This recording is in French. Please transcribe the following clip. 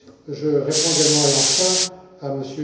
Je réponds également et enfin à